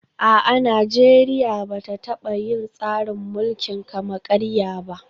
A'a, Najeriya ba ta taba yin tsarin mulkin kama karya ba